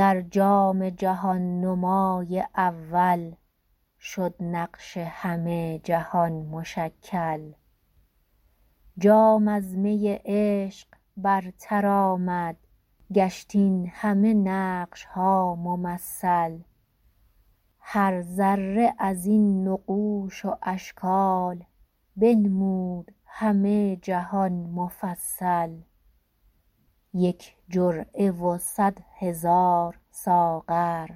در جام جهان نمای اول شد نقش همه جهان مشکل جام از می عشق برتر آمد گشت این همه نقش ها ممثل هر ذره ازین نقوش و اشکال بنمود همه جهان مفصل یک جرعه و صدهزار ساغر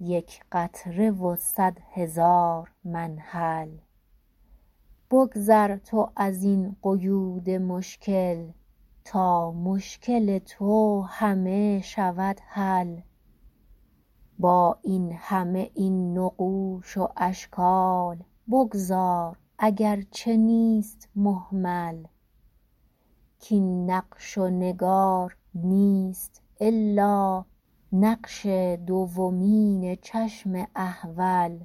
یک قطره و صد هزاز منهل بگذر تو ازین قیود مشکل تا مشکل تو همه شود حل با این همه این نقوش و اشکال بگذار اگر چه نیست مهمل کین نقش و نگار نیست الا نقش دومین چشم احوال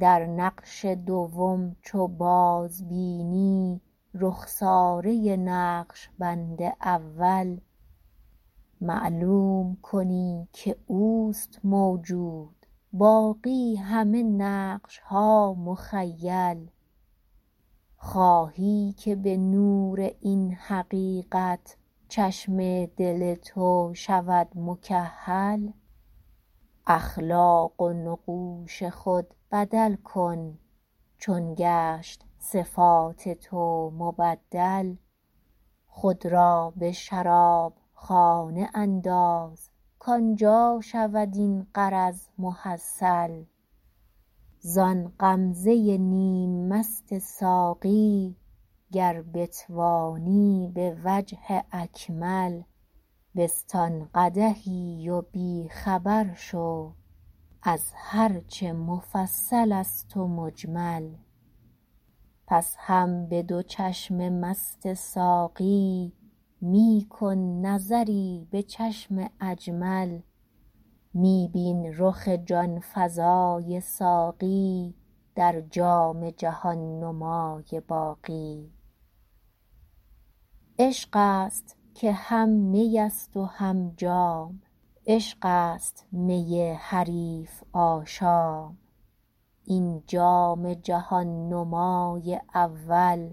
در نقش دوم چو باز بینی رخساره نقشبند اول معلوم کنی که اوست موجود باقی همه نقش ها مخیل خواهی که به نور این حقیقت چشم دل تو شود مکحل اخلاق و نقوش خود بدل کن چون گشت صفات تو مبدل خود را به شراب خانه انداز کان جا شود این غرض محصل زان غمزه نیم مست ساقی گر بتوانی به وجه اکمل بستان قدحی و بی خبر شو از هر چه مفصل است و مجمل پس هم به دو چشم مست ساقی می آن نظری به چشم اجمل می بین رخ جان فزای ساقی در جام جهان نمای باقی عشق است که هم می است و هم جام عشق است می حریف آشام این جام جهان نمای اول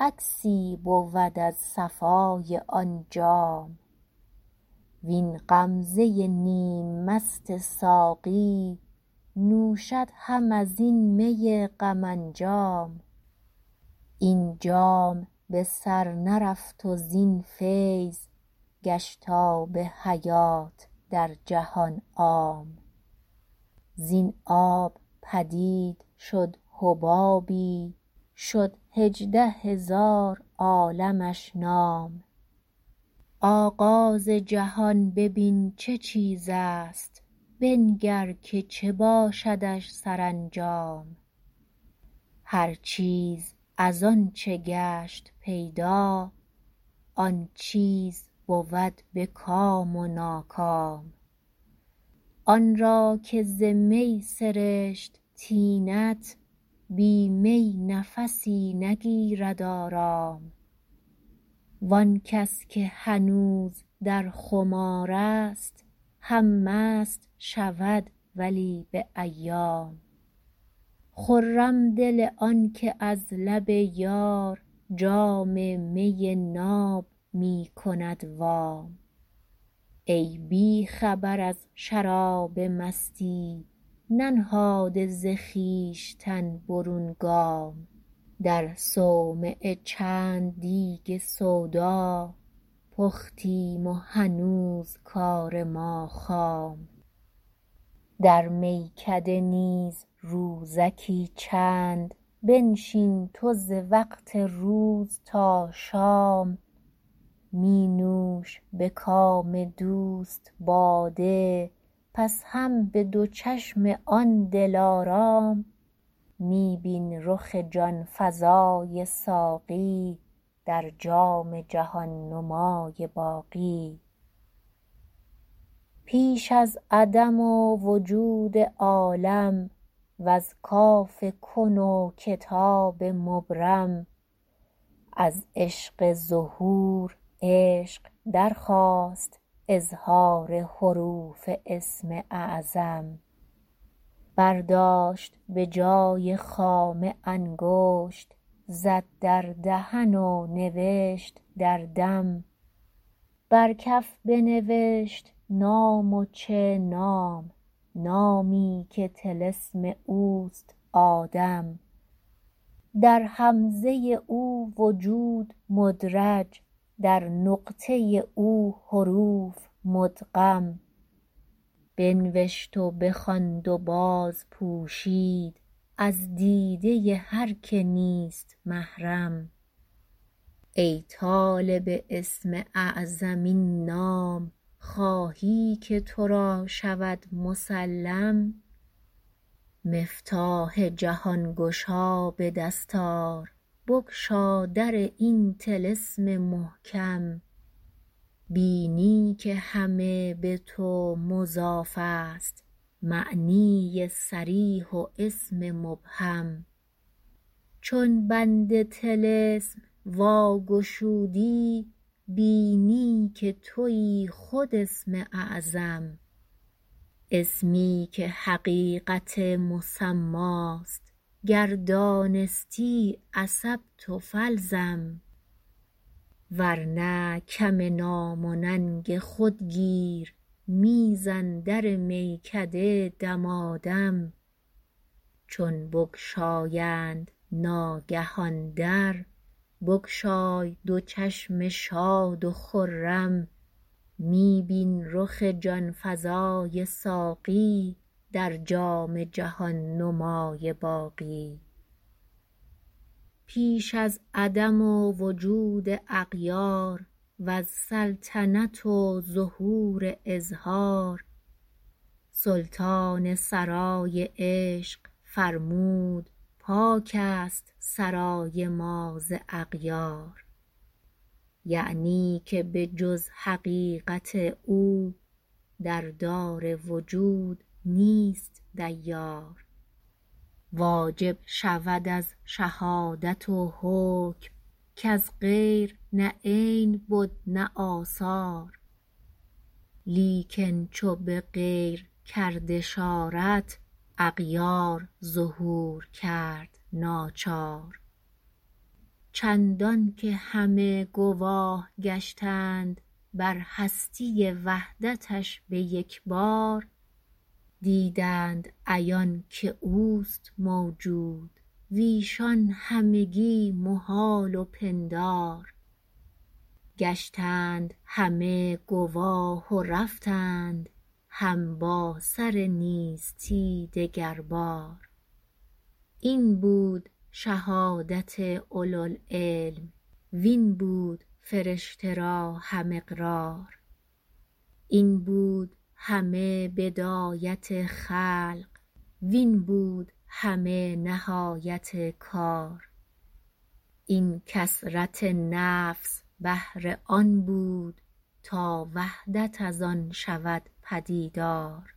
عکسی بود از صفای آن جام وین غمزه نیم مست ساقی نوشد هم ازین می غم انجام این جام بسر نرفت و زین فیض گشت آب حیات در جهان عام زین آب پدید شد حبابی شد هجده هزار عالمش نام آغاز جهان بین چه چیز است بنگر که چه باشدش سرانجام هر چیز از آنچه گشت پیدا آن چیز بود به کام و ناکام آن را که ز می سرشت طینت بی می نفسی نگیرد آرام و آن کس که هنوز در خمار است هم مست شود ولی به ایام خرم دل آنکه از لب یار جام می ناب می کند وام ای بی خبر از شراب مستی ننهاده ز خویشتن برون گام در صومعه چند دیگ سودا پختیم و هنوز کار ما خام در میکده نیز روزکی چند بنشین تو ز وقت روز تا شام می نوش به کام دوست باده پس هم به دور چشم آن لارام می بین رخ جان فزای ساقی در جام جهان نمای باقی پیش از عدم و وجود عالم وز کاف کن و کتاب مبرم از عشق ظهور عشق درخواست اظهار حروف اسم اعظم برداشت به جای خامه انگشت زد در دهن و نوشت در دم بر کف بنوشت نام و چه نام نامی که طلسم اوست آدم در همزه او وجود مدرج در نقطه او حروف مدغم بنوشت و بخواند و باز پوشید از دیده هر که نیست محرم ای طالب اسم اعظم این نام خواهی که تو را شود مسلم مفتاح جهان گشا به دست آر بگشا در این طلسم محکم بینی که همه به تو مضاف است معنی صریح و اسم مبهم چون بند طلسم وا گشودی بینی که تویی خود اسم اعظم اسمی که حقیقت مسماست گر دانستی اصبت فالزم ورنه کم نام و ننگ خود گیر میزن در میکده دمادم چون بگشایند ناگه آن در بگشای دو چشم شاد و خرم می بین رخ جان فزای ساقی در جام جهان نمای باقی پیش از عدم و وجود اغیار وز سلطنت و ظهور اظهار سلطان سرای عشق فرمود پاک است سرای ما ز اغیار یعنی که به جز حقیقت او در دار وجود نیست دیار واجب شود از شهادت و حکم کز غیر نه عین بد نه آثار لیکن چو به غیر کرد اشارت اغیار ظهور کرد ناچار چندان که همه گواه گشتند بر هستی وحدتش به یکبار دیدند عیان که اوست موجود ویشان همگی محال و پندار گشتند همه گواه و رفتند هم با سر نیستی دگر بار این بود شهادت اولوالعلم وین بود فرشه را هم اقرار این بود همه بدایت خلق وین بود همه نهایت کار این کثرت نفس بهر آن بود تا وحدت از آن شود پدیدار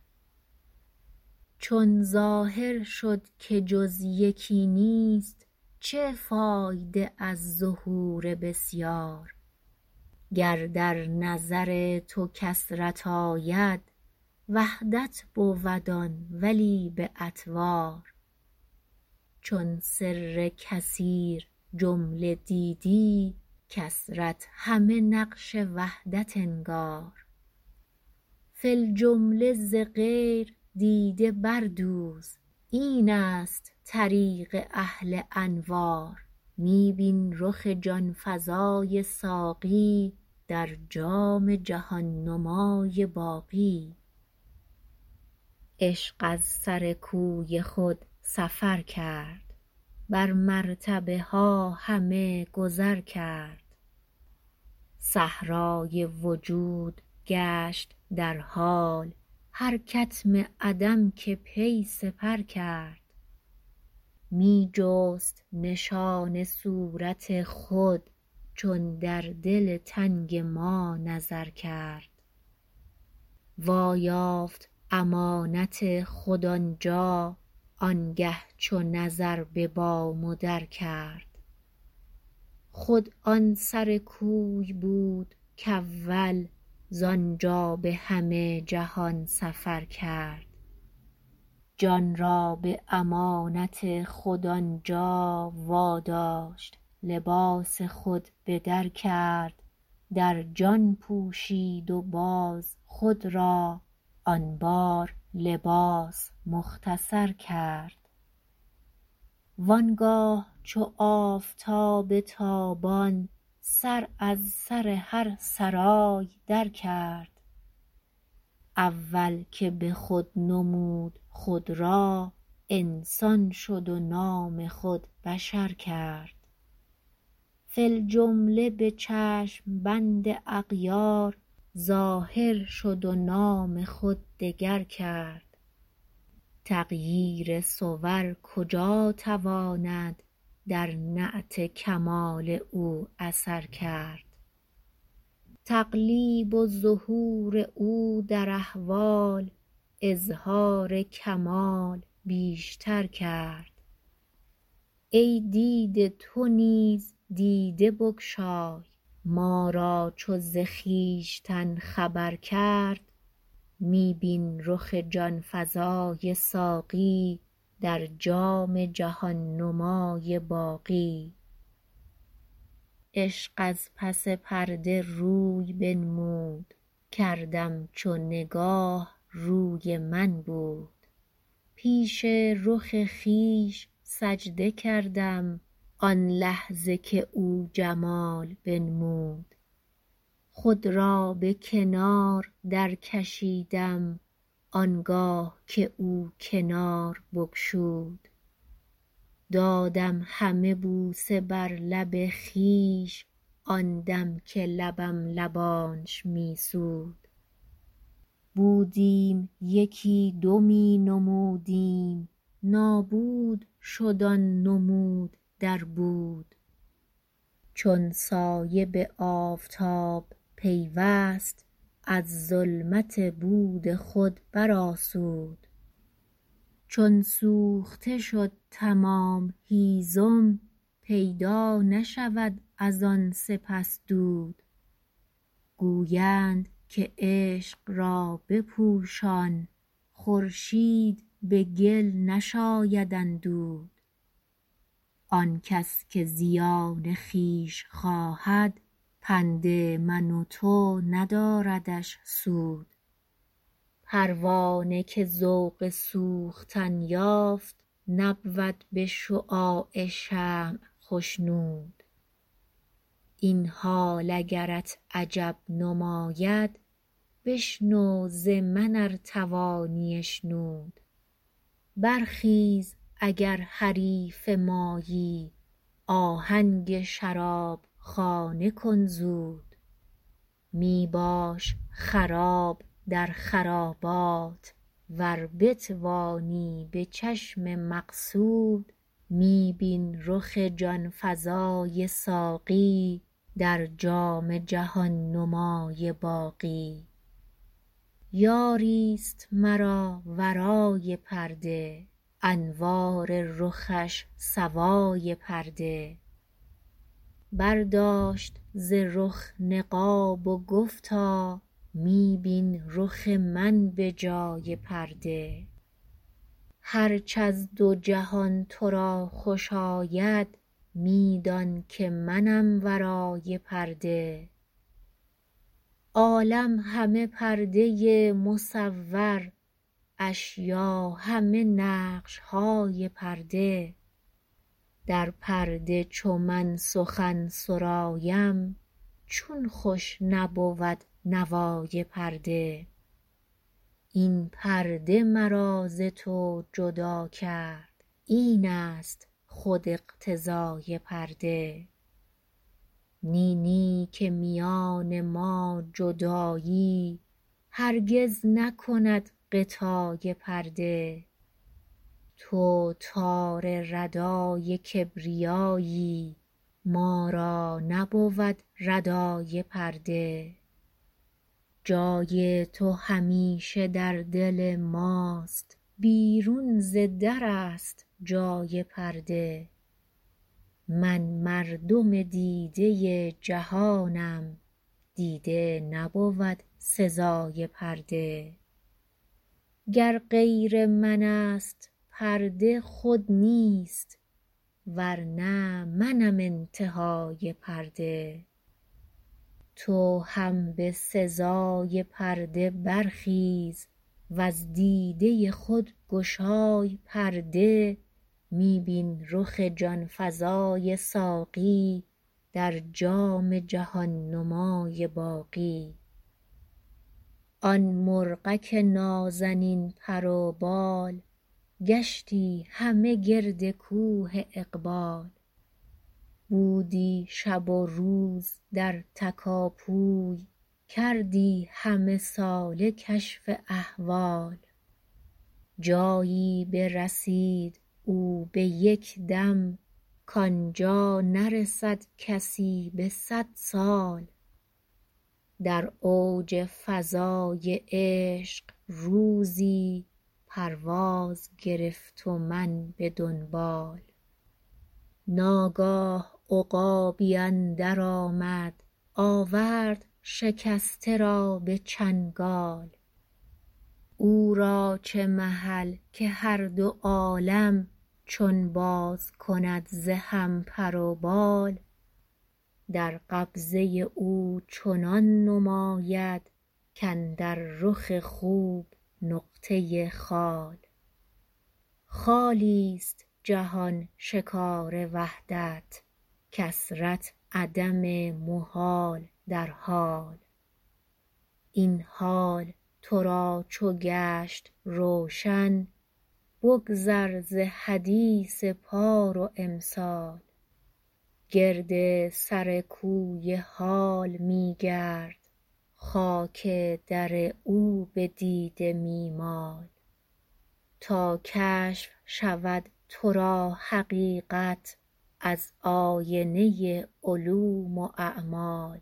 چون ظاهر شد که جز یکی نیست چه فایده از ظهور بسیار گر در نظر تو کثرت آید وحدت بود آن ولی به اطوار چون سر کثیر جمله دیدی کثرت همه نقش وحدت نگار فی الجمله ز غیر دیده بردوز این است طریق اهل انوار می بین رخ جان فزای ساقی در جام جهان نمای باقی عشق از سر کوی خود سفر کرد بر مرتبه ها همه گذر کرد صحرای وجود گشت در حال هر کتم عدم که پی سپر کرد می جست نشان صورت خود چون در دل تنگ ما نظر کرد وا یافت امانت خود آنجا آنگه چو نظر به بام و در کرد خود آن سر کوی بود کاول زانجا به همه جهان سفر کرد جان را به امانت خود آنجا واداشت لباس خود بدر کرد در جان پوشید و باز خود را آن بار لباس مختصر کرد وآنگاه چو آفتاب تابان سر از سر هر سرای در کرد اول که به خود نمود خود را انسان شد و نام خود بشر کرد فی الجمله به چشم بند اغیار ظاهر شد و نام خود دگر کرد تغییر صور کجا تواند در نعت کمال او اثر کرد تقلیب و ظهور او در احوال اظهار کمال بیشتر کرد ای دیده تو نیز دیده بگشای ما را چو ز خویشتن خبر کرد می بین رخ جان فزای ساقی در جام جهان نمای باقی عشق از پس پرده روی بنمود کردم چو نگاه روی من بود پیش رخ خویش سجده کردم آن لحظه که او جمال بنمود خود را به کنار در کشیدم آنگاه که او کنار بگشود دادیم همه بوسه بر لب خویش آن دم که لبم لبانش می سود بودم یکی دو می نمودیم نابود شد آن نمود در بود چون سایه به آفتاب پیوست از ظلمت بود خود برآسود چون سوخته شد تمام هیزم پیدا نشود از آن سپس دود گویند که عشق را بپوشان خورشید به گل نشاید اندود آن کس که زیان خویش خواهد پند من و تو نداردش سود پروانه که ذوق سوختن یافت نبود به شعاع شمع خشنود این حالت اگرت عجب نماید بشنو ز من ار توانی اشنود برخیز اگر حریف مایی آهنگ شرابخانه کن زود می باش خراب در خرابات ور بتوانی به چشم مقصود می بین رخ جان فزای ساقی در جام جهان نمای باقی یاری است مرا ورای پرده انوار رخش سوای پرده برداشت ز رخ نقاب و گفتا می بین رخ من به جای پرده هرچ از دو جهان تو را خوش آید میدان که منم ورای پرده عالم همه پرده مصور اشیا همه نقش های پرده در پرده چو من سخن سرایم چون خوش نبود نوای پرده این پرده مرا ز تو جدا کرد این است خود اقتضای پرده نی نیکه میان ما جدایی هرگز نکند غطای پرده تو تار ردای کبریایی ما را نبود ردای پرده جای تو همیشه در دل ماست بیرون ز در است جای پرده من مردم دیده جهانم دیده نبود سزای پرده گر غیر من است پرده خود نیست ورنه منم انتهای پرده تو هم به سزای پرده برخیز وز دیده خود گشای پرده می بین رخ جان فزای ساقی در جام جهان نمای باقی آن مرغک نازنین پر و بال گشتی همه گرد کوه اقبال بودی شب و روز در تکاپوی کردی همه ساله کشف احوال جایی برسید او به یک دم کان جا نرسد کسی به صد سال در اوج فضای عشق روزی پرواز گرفت و من به دنبال ناگاه عقابی اندر آمد آورد شکسته را به چنگال او را چه محل که هر دو عالم چون باز کند ز هم پر و بال در قبضه او چنان نماید کاندر رخ خوب نقطه خال خالی است جهان شکار وحدت کثرت عدم محال در حال این حال تو را چو گشت روشن بگذر ز حدیث پار و امسال گرد سر کوی حال می گرد خاک در او به دیده می مال تا کشف شود تو را حقیقت از آینه عدوم اعمال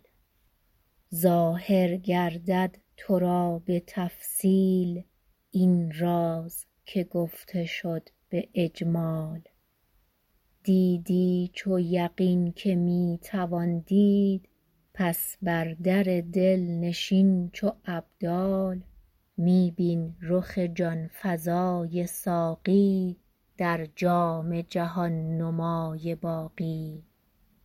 ظاهر گردد تو را به تقصیل این راز که گفته شد به اجمال دیدی چو یقین که می توان دید پس بر در دل نشین چو ابدال می بین رخ جان فزای ساقی در جام جهان نمای باقی